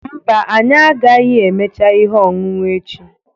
Mba, anyị agaghị emecha ihe ọṅụṅụ echi